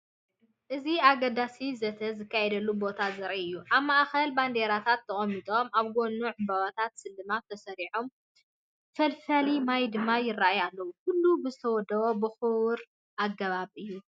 እዚ ኣገዳሲ ዘተ ዝካየደሉ ቦታ ዘርኢ እዩ፤ ኣብ ማእከል ባንዴራታት ተቐሚጦም፡ ኣብ ጎድኑ ዕምባባታት ስልማት ተሰሪዖም፡ ፈልፋሊ ማይ ድማ ይራኣዩ ኣለዉ። ኩሉ ብዝተወደበን ብኽቡርን ኣገባብ እዩ።